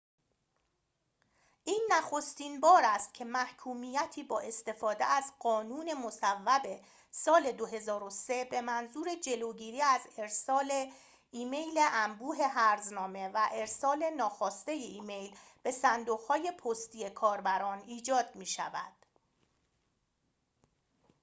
این نخستین بار است که محکومیتی با استفاده از قانون مصوب سال ۲۰۰۳ به منظور جلوگیری از ارسال ایمیل انبوه هرزنامه و ارسال ناخواسته ایمیل به صندوق های پستی کاربران ایجاد می‌شود